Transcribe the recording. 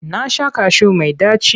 Na sha kashu mai ɗaci.